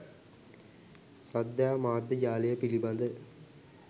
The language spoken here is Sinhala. ශ්‍රද්ධා මාධ්‍ය ජාලය පිළිබඳ